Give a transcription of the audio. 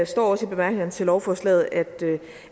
står også i bemærkningerne til lovforslaget at